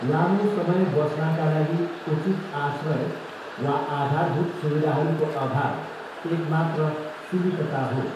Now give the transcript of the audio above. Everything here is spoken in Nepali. लामो समय बस्नाका लागि उचित आश्रय वा आधारभूत सुविधाहरूको अभाव एकमात्र सीमितता हो।